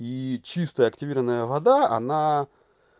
и чистая активированная вода она